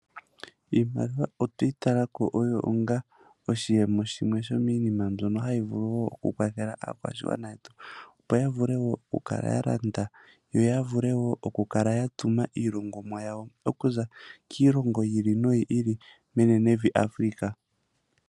Iimaliwa otweyi talako oyo onga oshiyemo shimwe shominima yimwe mbyono hayi vulu oku kwathela aakwashigwana yetu opo yavule woo oku kala yalanda noya tume iilongomwa yawo okuza kiilongo yi ili noyi ili menenevi Afrika.